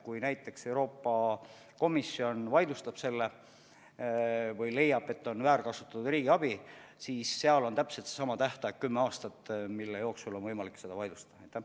Kui näiteks Euroopa Komisjon leiab, et riigiabi on väärkasutatud, siis kehtib täpselt seesama tähtaeg, kümme aastat, mille jooksul on võimalik seda vaidlustada.